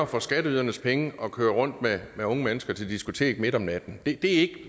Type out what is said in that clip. for skatteydernes penge at køre rundt med unge mennesker til diskotek midt om natten det er ikke